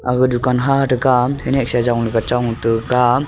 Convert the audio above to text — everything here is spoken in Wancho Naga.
aga dukan ha tekam ane chong tu kam.